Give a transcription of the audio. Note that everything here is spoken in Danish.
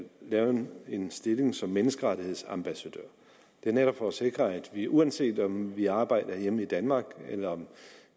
lave en stilling som menneskerettighedsambassadør det er netop for at sikre at vi uanset om vi arbejder herhjemme i danmark eller om